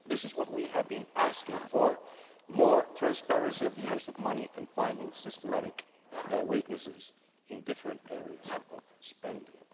This is what we have been asking for more transparency in the use of money and finding systematic weaknesses in different areas of spending.